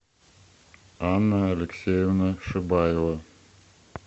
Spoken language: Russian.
анна алексеевна шибаева